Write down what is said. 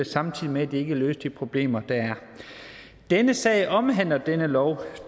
samtidig med at det ikke løste de problemer der er denne sag omhandler denne lov